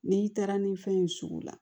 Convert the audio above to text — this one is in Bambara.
N'i taara ni fɛn ye sugu la